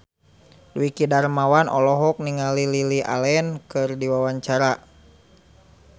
Dwiki Darmawan olohok ningali Lily Allen keur diwawancara